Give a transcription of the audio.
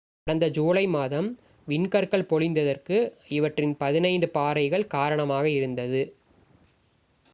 கடந்த ஜூலை மாதம் விண்கற்கள் பொழிந்ததற்கு இவற்றின் பதினைந்து பாறைகள் காரணமாக இருந்தது